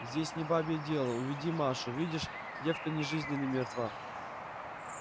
здесь не бабье дело уведи машу видишь девка ни жизни ни мертва